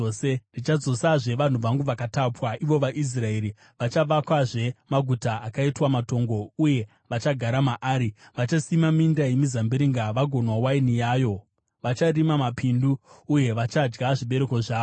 Ndichadzosazve vanhu vangu vakatapwa, ivo vaIsraeri; vachavakazve maguta akaitwa matongo uye vachagara maari. Vachasima minda yemizambiringa vagonwa waini yayo. Vacharima mapindu uye vachadya zvibereko zvawo.